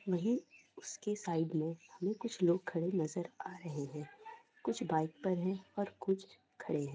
वही उसके साइड में हमे कुछ लोग खड़े नजर आ रहे है कुछ बाइक पर है और कुछ खड़े हैं।